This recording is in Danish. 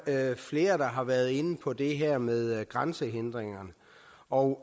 er flere der har været inde på det her med grænsehindringer og